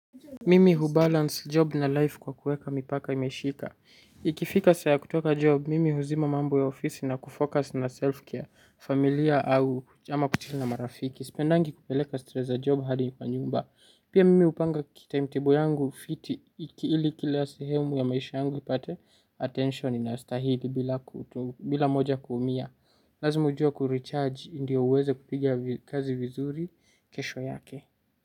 Mimi hubalance job na life kwa kuweka mipaka imeshika. Ikifika saa ya kutoka job, mimi huzima mambo ya ofisi na kufocus na self-care, familia au ama kuchill na marafiki. Sipendangi kupeleka stress za job hadi kwa nyumba. Pia mimi hupanga time tebo yangu fiti, ili kila sehemu ya maisha yangu ipate attention inayo stahili bila moja kuumia. Lazima ujua kurecharge ndiyo uweze kupigia kazi vizuri, kesho yake.